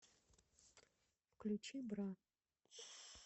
включи бра